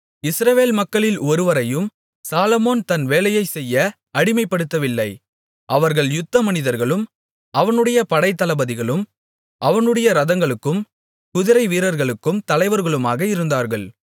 இஸ்ரவேல் மக்களில் ஒருவரையும் சாலொமோன் தன் வேலையைச் செய்ய அடிமைப்படுத்தவில்லை அவர்கள் யுத்த மனிதர்களும் அவனுடைய படைத்தளபதிகளும் அவனுடைய இரதங்களுக்கும் குதிரைவீரர்களுக்கும் தலைவர்களுமாக இருந்தார்கள்